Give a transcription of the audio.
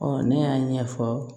ne y'a ɲɛfɔ